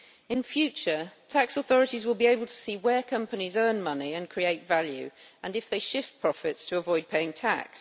In future, tax authorities will be able to see where companies earn money and create value and if they shift profits to avoid paying tax.